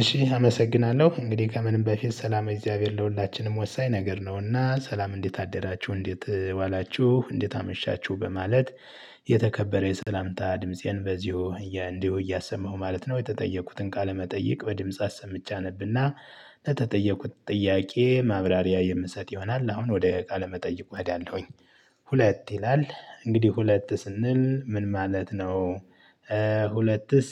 እሺ አመሰግናለሁ እንግዲህ ከምንም በፊት ሠላመ እግዚአብሔር ለሁላችንም ወሳኝ ነገር ነውና ሠላም እንዴት አደራችሁ እንዴት ዋላችሁ እንዴት አመሻችሁ በማለት የተከበረ የሠላምታ ድምፄን በዚሁ እያ እንዲሁ እያሰማሁ ማለት ነው የተጠየቁትን ቃለመጠየቅ በድምጽ አሰምቼ አነብና ለተጠየቁት ጥያቄ ማብራሪያ የምሰጥ ይሆናል አሁን ወደ ቃል መጠይቁ እሄዳለሁኝ። ሁለት ይላል እንግዲህ ሁለት ስንል ምን ማለት ነው? ሁለትስ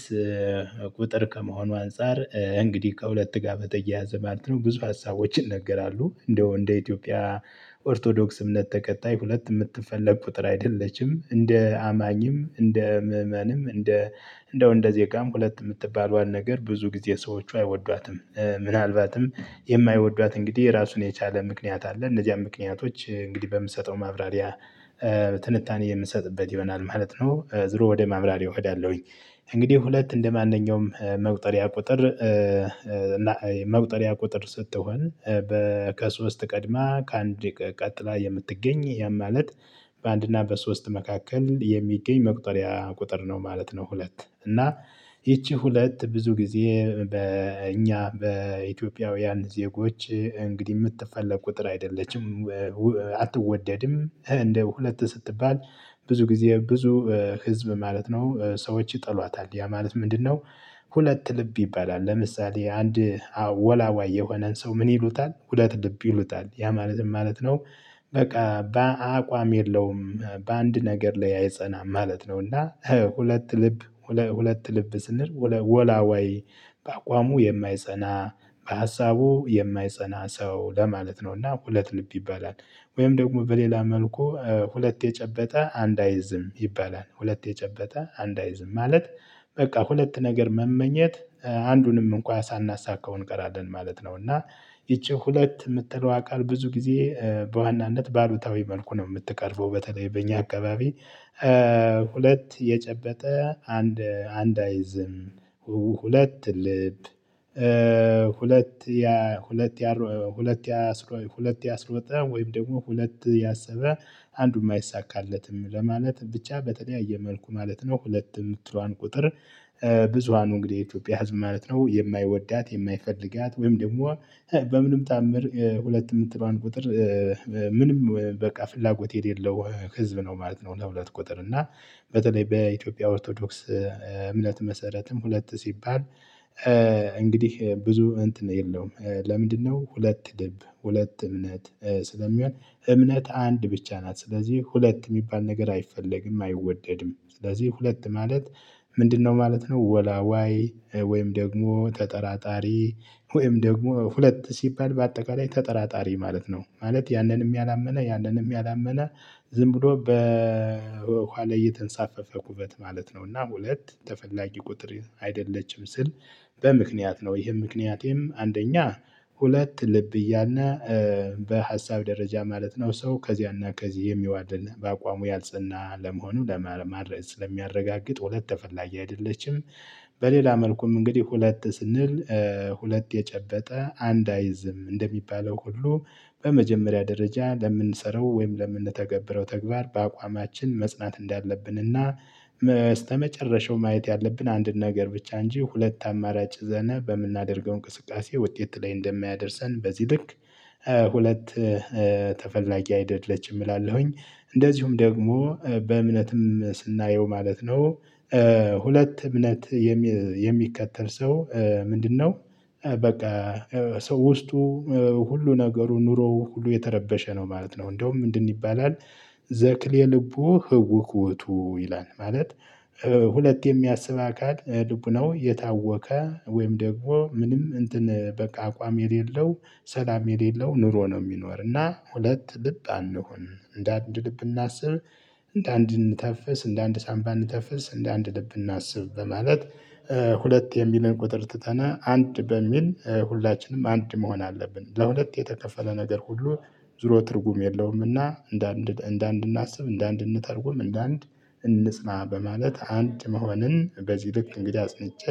ቁጥር ከመሆኑ አንፃር እንግዲህ ከሁለት ጋር በተያያዘ ማለት ነው። ብዙ ሀሳቦችን ይነገራሉ እንደው እንደ ኢትዮጵያ ኦርቶዶክስ እምነት ተከታይ ሁለት የምትፈልግ ቁጥር አይደለችም። እንደ አማኝም እንደ ምእመንም እንደ እንደው እንደ ዜጋም ሁለት የምትባለዋን ነገር ብዙ ጊዜ ሰዎቹ አይወዷትም። ምናልባትም የማይወዷት እንግዲህ ራሱን የቻለ ምክንያት አለ። እነዚያም ምክንያቶች እንግዲህ በምሰጠው ማብራሪያ ትንታኔ የምሰጥበት ይሆናል ማለት ነው። ዞሮ ወደ ማብራሪያ እሄዳለሁኝ። እንግዲህ ሁለት እንደማንኛውም መቁጠሪያ ቁጥር። መቁጠሪያ ቁጥር ስትሆን በ ከሶስት ቀድማ ከአንድ ቀ ቀጥላ የምትገኝ ያም ማለት በአንድና በሶስት መካከል የሚገኝ መቁጠሪያ ቁጥር ነው ማለት ነው። ሁለት እና ይቺ ሁለት ብዙ ጊዜ በእኛ በኢትዮጵያውያን ዜጎች እንግዲህ የምትፈልግ ቁጥር አይደለችም። አትወደድም እንደ ሁለት ስትባል ብዙ ጊዜ ብዙ ህዝብ ማለት ነው ሰዎች ይጠሏታል። ያ ማለት ምንድንነው? ሁለት ልብ ይባላል ለምሳሌ አንድ ወላዋይ የሆነን ሰው ምን ይሉታል ሁለት ልብ ይሉታል ያ ማለት ማለት ነው። በቃ በአቋም የለውም በአንድ ነገር ላይ አይጸናም ማለት ነው። እና ሁለት ልብ ሁለት ልብ ስንል ወለ ወላዋይ በአቋሙ የማይጸና በሀሳቡ የማይጸና ሰው ለማለት ነው። እና ሁለት ልብ ይባላል። ወይም ደግሞ በሌላ መልኩ ሁለት የጨበጠ አንድ አይዝም ይባላል ሁለት የጨበጠ አንድ አይዝም ማለት። በቃ ሁለት ነገር መመኘት አንዱንም እንኳን ሳናሳካው እንቀራለን ማለት ነው። እና ይቺ ሁለት የምትለዋ ቃል ብዙ ጊዜ በዋናነት በአሉታዊ መልኩ ነው የምትቀርበው በተለይ በእኛ አካባቢ። ሁለት የጨበጠ አንድ አንድ አይዝም። ሁለት ልብ። ሁለት ያ ሁለት ያሯ ሁለት ያስሮ ሁለት ያስሮጠ ወይም ደግሞ ሁለት ያሰበ አንዱም አይሳካለትም ለማለት ብቻ በተለያየ መልኩ ማለት ነው። ሁለት የምትለዋን ቁጥር። ብዙሃኑ እንግዲህ የኢትዮጵያ ህዝብ ማለት ነው የማይወዳት የማይፈልጋት ወይም ደግሞ በምንም ታምር ሁለት የምትለዋን ቁጥር ምንም በቃ ፍላጎት የሌለው ህዝብ ነው ማለት ነው። ለሁለት ቁጥር እና በተለይ በኢትዮጵያ ኦርቶዶክስ እምነት መሰረትም ሁለት ሲባል። እንግዲህ ብዙ እንትን የለውም ለምንድንነው? ሁለት ልብ ሁለት እምነት ስለሚሆን እምነት አንድ ብቻ ናት። ስለዚህ ሁለት የሚባል ነገር አይፈለግም አይወደድም። ስለዚህ ሁለት ማለት። ምንድንነው? ማለት ነው ወላዋይ ወይም ደግሞ ተጠራጣሪ ወይም ደግሞ ሁለት ሲባል በአጠቃላይ ተጠራጣሪ ማለት ነው። ማለት ያንንም ያላመነ ያንንም ያላመነ ዝም ብሎ በውሃ የተንሳፈፈ ኩበት ማለት ነው። እና ሁለት ተፈላጊ ቁጥር አይደለችም። ስል በምክንያት ነው። ይህም ምክንያቴም አንደኛ ሁለት ልብ እያልነ በሀሳብ ደረጃ ማለት ነው ሰው ከዚያና ከዚህ የሚዋልል በአቋሙ ያልጽና ለመሆኑ ለማ ማረ ስለሚያረጋግጥ ሁለት ተፈላጊ አይደለችም። በሌላ መልኩም እንግዲህ ሁለት ስንል። ሁለት የጨበጠ አንድ አይዝም እንደሚባለው ሁሉ በመጀመሪያ ደረጃ ለምንሰራው ወይም ለምንተገብረው ተግባር በአቋማችን መጽናት እንዳለብን። እና ማየት ያለብን አንድን ነገር ብቻ እንጂ ሁለት አማራጭ ይዘን በምናደርገው እንቅስቃሴ ውጤት ላይ እንደሚያደርሰን በዚህ ልክ። ሁለት ተፈላጊ አይደለችም እላለሁኝ። እንደዚሁም ደግሞ በእምነትም ስናየው ማለት ነው። ሁለት እምነት የሚ የሚከተል ሰው ምንድንነው? በቃ ሰው ውስጡ ሁሉ ነገሩ ኑሮው ሁሉ የተረበሸ ነው ማለት ነው። እንደውም ምንድን ይባላል? ዘክሌ ልቡ ህውክ ውእቱ ይላል ማለት። ሁለት የሚያስብ አካል ልቡናው የታወከ ወይም ደግሞ ምንም እንትን በቃ አቋም የሌለው ሠላም የሌለው ኑሮ ነው። የሚኖር እና ሁለት ልብ አንሁን እንደ አንድ ልብ እናስብ። እንደ አንድ እንተፍስ እንደ አንድ ሳንባ እንተንፍስ እንደ አንድ ልብ እናስብ በማለት። ሁለት የሚልን ቁጥር ትተን አንድ በሚል ሁላችንም አንድ መሆን አለብን። ለሁለት የተከፈለ ነገር ሁሉ ዙሮ ትርጉም የለውምና እንደ እንደ እንደአንድ እናስብ እንደአንድ እንተርጉም እንደአንድ እንጽና በማለት አንድ መሆንን በዚህ ልክ እንግዲህ አጽንቼ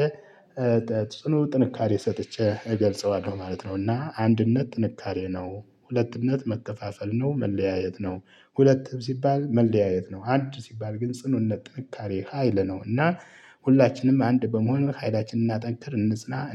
ጽኑ ጥንካሬ ሰጥቼ እገልጸዋለሁ ማለት ነው። እና አንድነት ጥንካሬ ነው ሁለትነት መከፋፈል ነው መለያየት ነው። ሁለትም ሲባል መለያየት ነው አንድ ሲባል ግን ጽኑነት ጥንካሬ ሀይል ነው። እና ሁላችንም አንድ በመሆን ኃይላችንን እናጠንክር እንጽና።